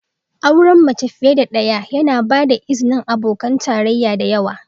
Auren mace fiye da ɗaya yana ba da izinin abokan tarayya da yawa.